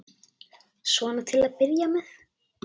Svona til að byrja með.